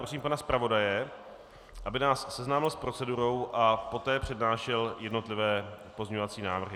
Prosím pana zpravodaje, aby nás seznámil s procedurou a poté přednášel jednotlivé pozměňovací návrhy.